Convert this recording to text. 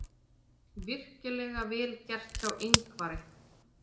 Virkilega vel gert hjá Ingvari.